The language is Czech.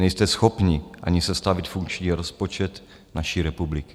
Nejste schopni ani sestavit funkční rozpočet naší republiky.